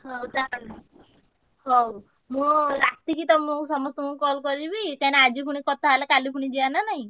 ହଉ ଯା ଆଉ ହଉ ମୁଁ ରାତିକି ତମୁକୁ ସମସ୍ତ ଙ୍କୁ call କରିବି କାହିଁକିନା ଆଜି ପୁଣି କଥା ହେଲେ କାଲି ପୁଣି ଯିବା ନା ନାହିଁ।